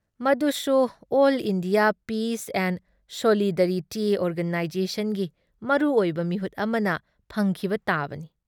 ꯃꯗꯨꯁꯨ all India peace and solidarity ꯑꯣꯔꯒꯅꯥꯏꯖꯦꯁꯟꯒꯤ ꯃꯔꯨ ꯑꯣꯏꯕ ꯃꯤꯍꯨꯠ ꯑꯃꯅ ꯐꯪꯈꯤꯕ ꯇꯥꯕꯅꯤ ꯫